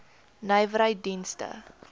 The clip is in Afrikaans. nywerheiddienste